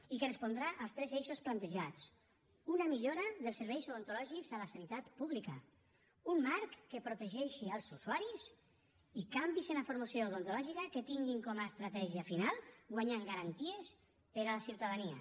i que respondrà als tres eixos plantejats una millora dels serveis odontològics a la sanitat pública un marc que protegeixi els usuaris i canvis en la formació odontològica que tinguin com a estratègia final guanyar en garanties per a la ciutadania